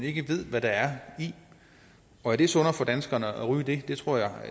ikke ved hvad der er i og er det sundere for danskerne at ryge det det tror jeg